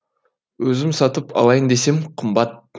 өзім сатып алайын десем қымбат